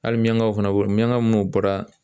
Hali miɲankaw fana miɲanka minnu bɔra